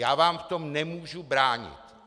Já vám v tom nemůžu bránit.